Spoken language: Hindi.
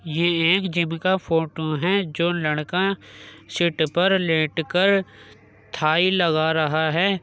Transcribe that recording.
ये एक जिम का फोटो हैं। जो लड़का सीट पर लेट कर थाई लगा रहा है।